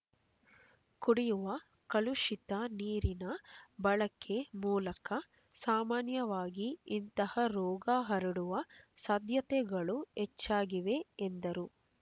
ಕುಡಿಯುವ ಕಲುಷಿತ ನೀರಿನ ಬಳಕೆ ಮೂಲಕ ಸಾಮಾನ್ಯವಾಗಿ ಇಂತಹ ರೋಗ ಹರಡುವ ಸಾಧ್ಯತೆಗಳು ಹೆಚ್ಚಾಗಿವೆ ಎಂದರು